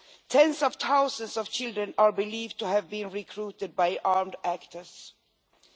Tens of thousands of children are believed to have been recruited by armed groups.